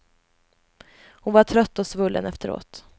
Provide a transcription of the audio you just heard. Hon var trött och svullen efteråt.